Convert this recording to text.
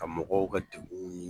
Ka mɔgɔw ka degun ye.